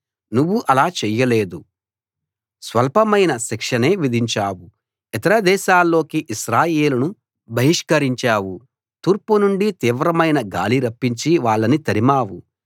నువ్వు అలా చేయలేదు స్వల్పమైన శిక్షనే విధించావు ఇతర దేశాల్లోకి ఇశ్రాయేలును బహిష్కరించావు తూర్పు నుండి తీవ్రమైన గాలి రప్పించి వాళ్ళని తరిమావు